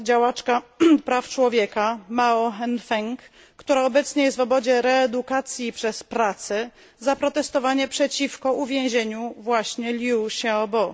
działaczka praw człowieka Mao Hengfeng, która obecnie jest w obozie reedukacji przez pracę za protestowanie przeciwko uwięzieniu właśnie Liu Xiaobo.